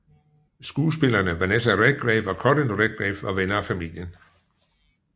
Skuespillerne Vanessa Redgrave og Corin Redgrave var venner af familien